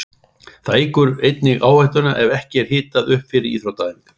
Það eykur einnig áhættuna ef ekki er hitað upp fyrir íþróttaæfingar.